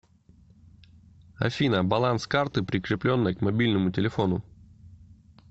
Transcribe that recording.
афина баланс карты прикрепленной к мобильному телефону